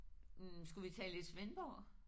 Hm skulle vi tale lidt Svendborg?